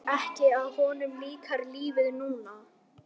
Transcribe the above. Það leynir sér ekki að honum líkar lífið núna.